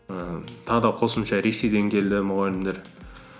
ііі тағы да қосымша ресейден келді мұғалімдер